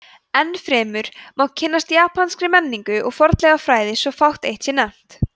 enn fremur má kynnast japanskri menningu og fornleifafræði svo fátt eitt sé nefnt